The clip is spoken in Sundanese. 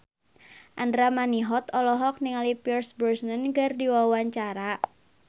Andra Manihot olohok ningali Pierce Brosnan keur diwawancara